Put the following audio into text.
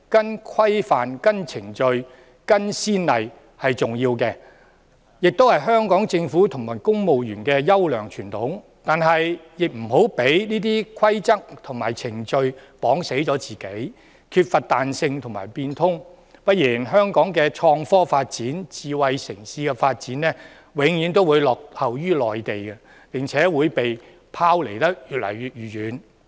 依循規範、程序、先例是重要的，亦是香港政府和公務員的優良傳統，但是亦不要受制於這些規則和程序，令自己缺乏彈性和不會變通；不然香港的創科發展、智慧城市的發展，永遠會落後於內地，並且會被拋離得越來越遠。